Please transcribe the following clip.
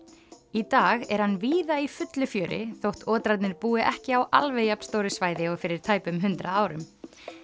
í dag er hann víða í fullu fjöri þótt búi ekki á alveg jafn stóru svæði og fyrir tæpum hundrað árum